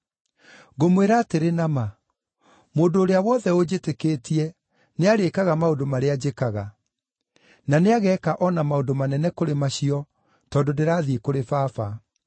Ngũmwĩra atĩrĩ na ma, mũndũ ũrĩa wothe ũnjĩtĩkĩtie, nĩarĩĩkaga maũndũ marĩa njĩkaga. Na nĩageeka o na maũndũ manene kũrĩ macio, tondũ ndĩrathiĩ kũrĩ Baba.